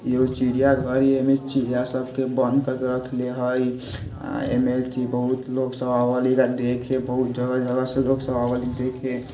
ऐगो चिड़िया घर येमे चिड़िया सबके बंद करके रखले हय आ ऐमे थी बहुत लोग सब आवल है ऐगा देखे बहुत जगह-जगह से लोग सब आवल ही देखे।